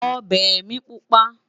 ọbẹ mí pupa